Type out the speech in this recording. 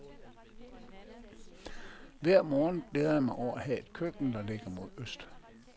Hver morgen glæder jeg mig over at have et køkken, der ligger mod øst.